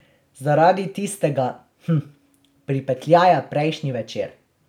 Zaradi tistega, hm, pripetljaja prejšnji večer.